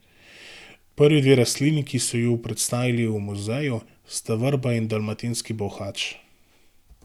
Prvi dve rastlini, ki so ju predstavili v muzeju, sta vrba in dalmatinski bolhač.